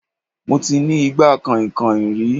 Mo ti ní igbá kànhìnkànhìn rí